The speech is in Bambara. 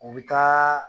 U bɛ taa